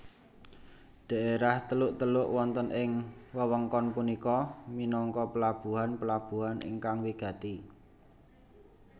Daerah teluk teluk wonten ing wewengkon punika minangka pelabuhan pelabuhan ingkang wigati